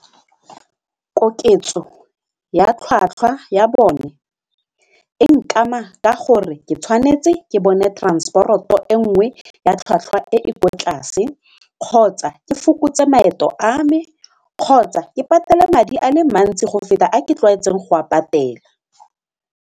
Koketso ya tlhwatlhwa ya bone e nkama ka gore ke tshwanetse ke bone transport-o e nngwe ya tlhwatlhwa e kwa tlase kgotsa ke fokotse maeto a me kgotsa ke patele madi ale mantsi go feta a ke tlwaetseng go a patela.